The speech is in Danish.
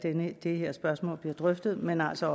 det her spørgsmål bliver drøftet men altså